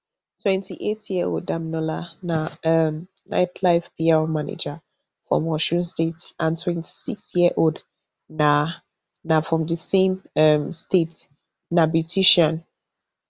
twenty-eightyearold damilola na um nightlife pr manager from osun state and twenty-sixyearold na na from di same um state na beautician